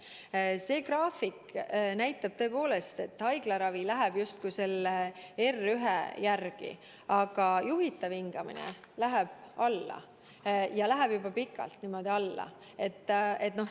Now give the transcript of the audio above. Aga see graafik näitab tõepoolest, et haiglaravi läheb justkui selle R1 järgi, aga juhitav hingamine läheb alla, ja läheb juba pikalt niimoodi alla.